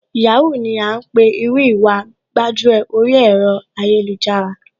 Yahoo ni à ńpè irú Ìwà gbájúẹ̀ oríi ẹ̀rọ ayélujára,